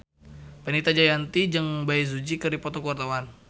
Fenita Jayanti jeung Bae Su Ji keur dipoto ku wartawan